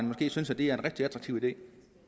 måske synes at det er en rigtig attraktiv idé